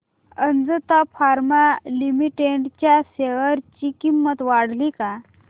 Ajanta pharma limited च्या share ची किंमत वाढली का